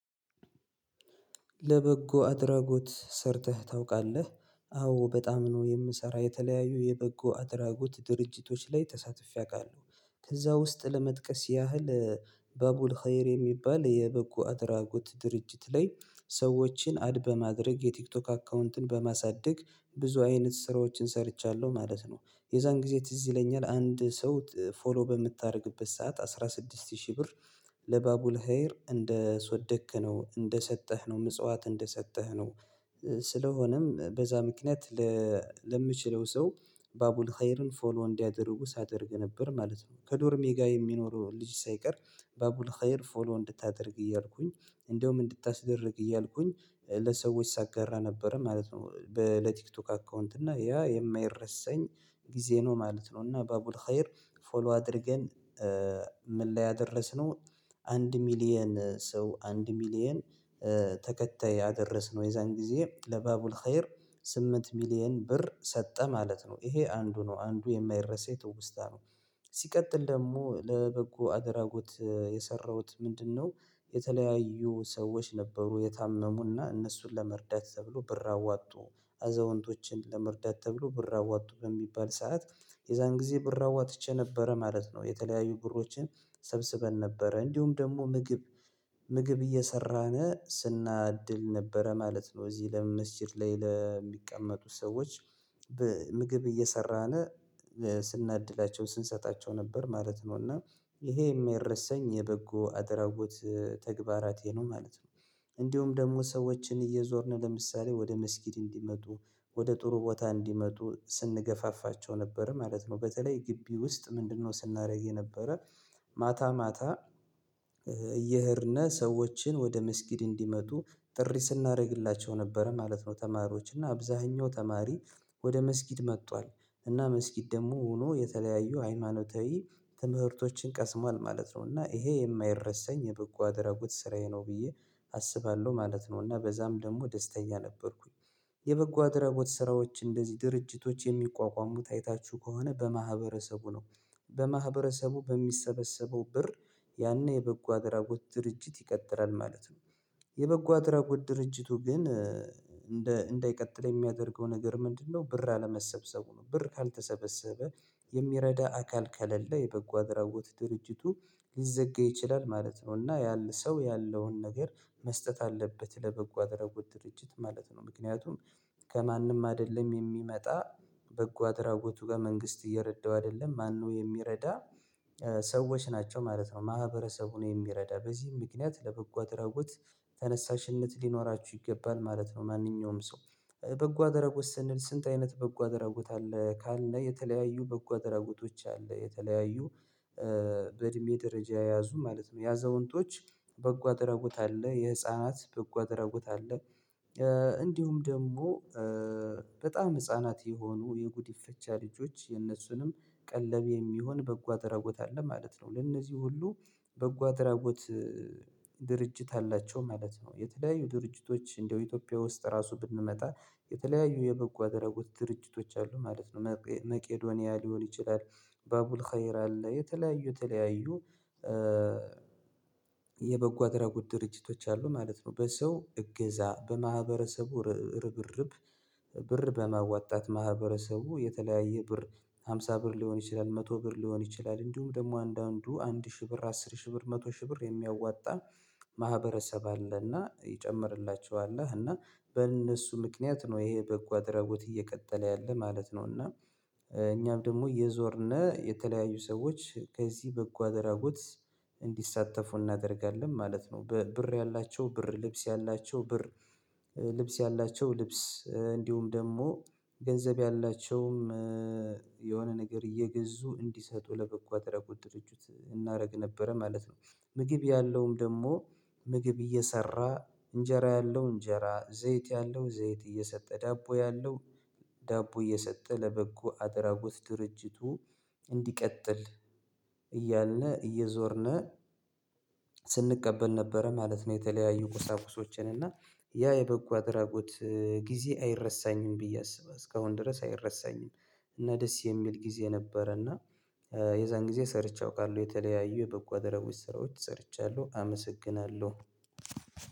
ለበጎ አድራጎት ሰርተህ ታውቃለህ? አዎ በጣም ነው የምሰራ የተለያዩ የበጎ አድራጎት ድርጅቶች ላይ ተሳትፌ አውቃለሁ ከዛ ውስጥ ለመጥቀስ ያህል በቡል ኸይር የሚባል የበጎ አድራጎት ድርጅት ላይ ሰዎችን አድ በማድረግ የቲክቶክ አካውንትን በማሳደግ ብዙ አይነት ስራዎችን ሰርቻለሁ ማለት ነው። የዛን ጊዜ ትዝ ይለኛል አንድ ሰው ፎሎ በምታደርግበት ሰዓት አስራ ስድስት ሺህ ብር ለባቡል ሀየር እንደሰወደክ ነው እንደሰጠህ ነው ምጽዋት እንደሰጠህ ነው። ስለሆነም በዛ ምክንያት ለምችለው ሰው ባቡል ሃየርን ፎሎ እንዲያደርጉ ሳደርግ ነበር ማለት ነው። ከዶርሜ ጋር የሚኖረው ልጅ ሳይቀር ባቡል ሀየር ፎሎ እንድታደርግ እያልኩኝ እንደውም እንድታስደርግ እያልኩኝ ለሰዎች ሳጋራ ነበረ ማለት ነው። በለቲክቶክ አካውንት እና ያ የማይረሰኝ ጊዜ ነው ማለት ነው። እና በቡል ሀየር ፎሎ አድርገን ምን ላይ አደረስነው? አንድ ሚሊየን ሰው አንድ ሚሊየን አደረስነው የዛን ጊዜ ለባቡል ሀየር ስምንት ሚሊየን ብር ሰጠ ማለት ነው ይሄ አንዱ ነው አንዱ የማይረሳ የትውስታ ነው። ሲቀጥል ደግሞ ለበጎ አደራጎት የሰራሁት ምንድነው? የተለያዩ ሰዎች ነበሩ የታመሙና እነሱን ለመርዳት ተብሎ ብር አዋጡ አዘውንቶችን ለመርዳት ተብሎ ብር አዋጡ በሚባል ሰዓት የዛን ጊዜ ብር አዋጥቼ ነበረ ማለት ነው። የተለያዩ ብሮችን ሰብስበን ነበረ እንዲሁም ደግሞ ምግብ ምግብ እየሰራነ ስናድል ነበረ ማለት ነው። እዚህ ለመመስጊድ ላይ ለሚቀመጡት ሰዎች ምግብ እየሰራን ስናድላቸው ስንሰጣቸው ነበር ማለት ነው። እና ይሄ የማይረሰኝ የበጎ አድራጎት ተግባራቴ ነው ማለት ነው። እንዲሁም ደግሞ ሰዎችን እየዞርን ለምሳሌ ወደ መስጊድ እንዲመጡ ወደ ጥሩ ቦታ እንዲመጡ ስንገፋፋቸው ነበር ማለት ነው። በተለይ ግቢ ውስጥ ምንድነው ስናደርግ የነበረ ማታ ማታ እየሄድነህ ሰዎችን ወደ ምስጊድ እንዲመጡ ጥሪ ስናደርግላቸው ነበረ ማለት ነው። ተማሪዎች እና አብዛኛው ተማሪ ወደ መስጊድ መጥቷል እና መስጊድ ደግሞ ሆኖ የተለያዩ ሃይማኖታዊ ትምህርቶችን ቀስሟል ማለት ነው። እና ይሄ የማይረሳኝ የበጎ አደረጉት ስራዬ ነው ብዬ አስባለሁ ማለት ነው። እና በዛም ደግሞ ደስተኛ ነበርኩኝ የበጎ አደራጎት ስራዎች እንደዚህ ድርጅቶች የሚቋቋሙት አይታችሁ ከሆነ በማህበረሰቡ ነው በማህበረሰቡ በሚሰበሰበው ብር ያኔ የበጎ አድራጎት ድርጅት ይቀጥራል ማለት ነው። የበጎ አድራጎት ድርጅቱ ግን እንዳይቀጥል የሚያደርገው ነገር ምንድነው? ብር አለመሰብሰቡ ነው ብር ካልተሰበሰበ የሚረዳ አካል ከሌለ የበጎ አድራጎት ድርጅቱ ሊዘጋ ይችላል ማለት ነው። እና ያለ ሰው ያለውን ነገር መስጠት አለበት ለበጎ አድራጎት ድርጅት ማለት ነው። ምክንያቱም ከማንም አይደለም የሚመጣ በጎ አድራጎቱ ጋር መንግስት እየረዳው አይደለም ማነው የሚረዳ? ሰዎች ናቸው ማለት ነው። ማህበረሰቡን የሚረዳ በዚህም ምክንያት ለበጎ አድርጉት ተነሳሽነት ሊኖራችሁ ይገባል ማለት ነው። ማንኛውም ሰው በጎ አደረጎት ስንል ስንት አይነት በጎ አደረጎት አለ ካልን የተለያዩ በጎ ደረጎቶች አለ የተለያዩ በእድሜ ደረጃ የያዙ ማለት ነው። ያዘውንጦች በጎ አደረጉት አለ የህፃናት በጎ አደረጉት አለ። እንዲሁም ደግሞ በጣም ህፃናት የሆኑ የጉዲፈቻ ልጆች የነሱንም ቀለብ የሚሆን በጎ አደራጎት አለ ማለት ነው። ለእነዚህ ሁሉ በጎ አድራጎት ድርጅት አላቸው ማለት ነው። የተለያዩ ድርጅቶች እንደው ኢትዮጵያ ውስጥ ራሱ ብንመጣ የተለያዩ የበጎ አደራጎት ድርጅቶች አሉ ማለት ነው። መቄዶንያ ሊሆን ይችላል። ባቡል ሀየር አለ የተለያዩ የተለያዩ የበጎ አድራጎት ድርጅቶች አሉ ማለት ነው። በሰው እገዛ በማህበረሰቡ ርብርብ ብር በመዋጣት ማህበረሰቡ የተለያየ ብር ሃምሳ ብር ሊሆን ይችላል መቶ ብር ሊሆን ይችላል እንዲሁም ደግሞ አንዳንዱ አንድ ሺህ ብር አስር ሺህ ብር መቶ ሺህ ብር የሚያዋጣ ማህበረሰብ አለና ይጨምርላቸዋል እና በእነሱ ምክንያት ነው ይሄ በጓደራቦት እየቀጠለ ያለ ማለት ነው። እና እኛም ደግሞ እየዞርን የተለያዩ ሰዎች ከዚህ በጎ አደራጎት እንዲሳተፉ እናደርጋለን ማለት ነው። በብር ያላቸው ብር ልብስ ያላቸው ብር ልብስ ያላቸው ልብስ እንዲሁም ደግሞ ገንዘብ ያላቸውም የሆነ ነገር እየገዙ እንዲሰጡ ለበጎ አድራጎት ድርጅት እናደርግ ነበረ ማለት ነው። ምግብ ያለውም ደግሞ ምግብ እየሰራ እንጀራ ያለው እንጀራ ዘይት ያለው ዘይት እየሰጠ ዳቦ ያለው ዳቦ እየሰጠ ለበጎ አድራጎት ድርጅቱ እንዲቀጥል እያልን እየዞርነህ ነበረ ማለት ነው። የተለያዩ ቁሳቁሶችን እና ያ የበጎ አድራጎት ጊዜ አይረሳኝም ብዬ አስባለሁ እስካሁን ድረስ አይረሳኝም። እና ደስ የሚል ጊዜ ነበረ እና የዛን ጊዜ ሰርቼ አውቃለሁ የተለያዩ የበጎ ደረቦች ስራዎች ሰርቻለሁ። አመሰግናለሁ።